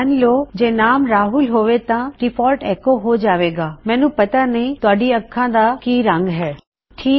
ਮਨ ਲੋ ਜੇ ਨਾਮੇ ਰਾਹੁਲ ਹੋਵੇ ਤਾਂ ਡਿਫਾਲਟ ਐੱਕੋ ਹੋ ਜਾਵੇਗਾ I don't know what colour your eyes are ਮੈਨੂੰ ਨਹੀ ਪਤਾ ਤੁਹਾਡੀ ਅਖਾਂ ਕਿਸ ਰੰਗ ਦੀਆਂ ਨੇ